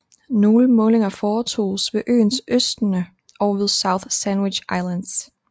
Nogle målinger foretoges ved øens østende og ved South Sandwich Islands